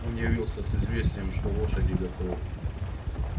он явился с известием что лошади готовы